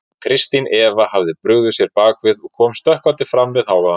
Kristín Eva hafði brugðið sér bak við og kom stökkvandi fram við hávaðann.